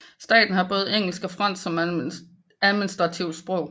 Staten har både engelsk og fransk som administrative sprog